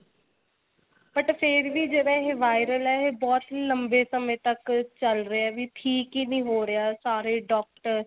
but ਫੇਰ ਵੀ ਜਿਵੇਂ ਇਹ viral ਏ ਇਹ ਬਹੁਤ ਹੀ ਲੰਬੇ ਸਮੇਂ ਤੱਕ ਚੱਲ ਰਿਹਾ ਵੀ ਠੀਕ ਹੀ ਨਹੀਂ ਹੋ ਰਿਹਾ ਸਾਰੇ doctor